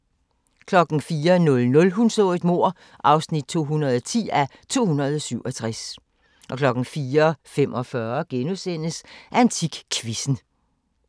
04:00: Hun så et mord (210:267) 04:45: AntikQuizzen *